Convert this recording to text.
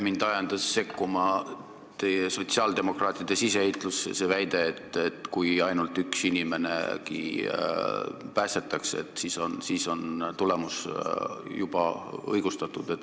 Mind ajendas sekkuma teie, sotsiaaldemokraatide siseheitlus, see väide, et kui ainult üks inimenegi päästetakse, et siis on tulemus juba õigustatud.